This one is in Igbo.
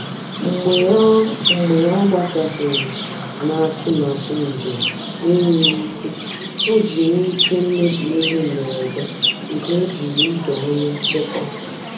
Mgbe ọ Mgbe ọ gbasasịrị na atụmatụ njem na-enweghị isi, O ji nwute mebie ego mberede nke ojiri ido anya chekwaa.